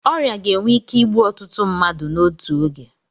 Ọrịa ga-enwe ike igbu ọtụtụ mmadụ n'otu oge.